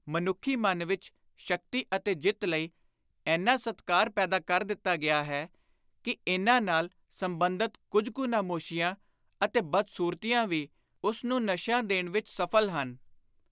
ਮਨੁੱਖੀ ਮਨ ਵਿਚ ਸ਼ਕਤੀ ਅਤੇ ਜਿੱਤ ਲਈ ਏਨਾ ਸਤਿਕਾਰ ਪੈਦਾ ਕਰ ਦਿੱਤਾ ਗਿਆ ਹੈ ਕਿ ਇਨ੍ਹਾਂ ਨਾਲ ਸੰਬੰਧਤ ਕੁਝ ਕੁ ਨਮੋਸ਼ੀਆਂ ਅਤੇ ਬਦ-ਸੁਰਤੀਆਂ ਵੀ ਉਸ ਨੂੰ ਨਸ਼ਿਆ ਦੇਣ ਵਿਚ ਸਫਲ ਹਨ।